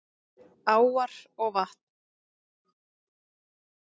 Áar og vatn